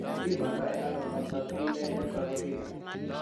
Kipimandoi ano Factor V Leiden thrombophilia?